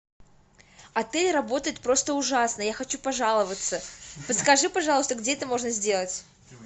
отель работает просто ужасно я хочу пожаловаться подскажи пожалуйста где это можно сделать